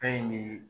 Fɛn in bi